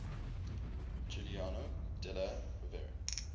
giuliano della rovere